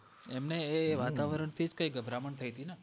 એમને એ વાતવરણ થી જ કય ગભરામણ થઈતી ને